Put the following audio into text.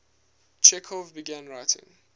chekhov began writing